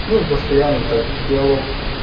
ну и постоянно так диалог